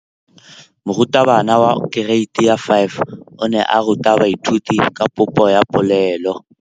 Moratabana wa kereiti ya 5 o ne a ruta baithuti ka popô ya polelô.